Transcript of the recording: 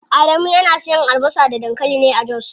Adamu yana siyan albasa da dankali ne a jos.